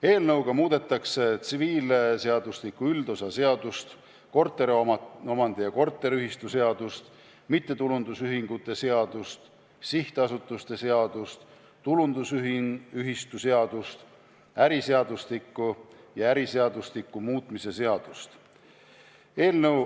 Eelnõuga muudetakse tsiviilseadustiku üldosa seadust, korteriomandi ja korteriühistu seadust, mittetulundusühingute seadust, sihtasutuste seadust, tulundusühistu seadust, äriseadustikku ja äriseadustiku muutmise seadust.